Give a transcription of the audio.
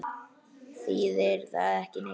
Þýðir það ekki neitt?